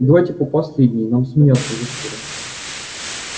давайте по последней нам сменяться уже скоро